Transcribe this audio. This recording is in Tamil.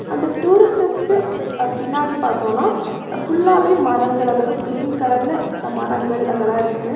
அந்த டூரிஸ்டர்ஸ்க்கு பின்னாடி பாத்தோம்னா ஃபுல்லாவே மரங்கள் அதாவது கிரீன் கலர்ல மரங்கள் அதெல்லா இருக்கு.